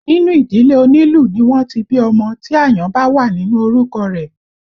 Nínú ìdílé onílù ni wọ́n ti bí ọmọ tí àyàn bá wà nínú orúkọ rẹ̀